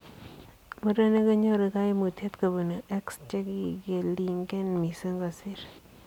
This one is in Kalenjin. Murenik konyoru kaimutiet kobunuu X chekikelingen misiing kosir